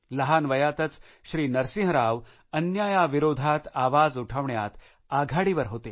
लहान वयातच श्री नरसिंह राव अन्यायाविरोधात आवाज उठवण्यात आघाडीवर होते